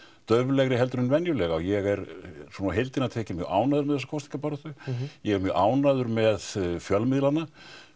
dauflegri heldur en venjulega og ég er svona á heildina tekið mjög ánægður með þessa kosningabaráttu ég er mjög ánægður með fjölmiðlana